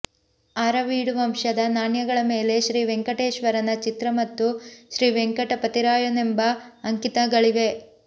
ಆರವೀಡು ವಂಶದ ನಾಣ್ಯಗಳ ಮೇಲೆ ಶ್ರೀವೆಂಕಟೇಶ್ವರನ ಚಿತ್ರ ಮತ್ತು ಶ್ರೀವೆಂಕಟಪತಿರಾಯನೆಂಬ ಅಂಕಿತಗಳಿವೆ